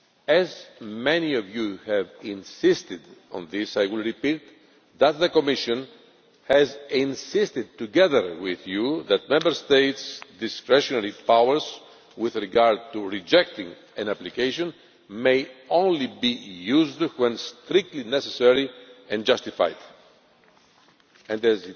As many of you have insisted on this, I will repeat that the Commission has insisted, together with you, that Member States' discretionary powers with regard to rejecting an application may only be used when strictly necessary and justified, and we will of course be monitoring this. As I mentioned earlier, let us not forget that migration and mobility are also about empowerment, creativity and socio economic development.